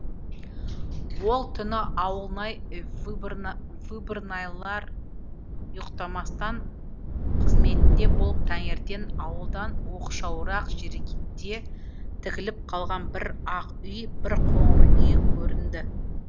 ол түні ауылнай выборнайлар ұйықтамастан қызметінде болып таңертең ауылдан оқшауырақ жерде тігіліп қалған бір ақ үй бір қоңыр үй көрінді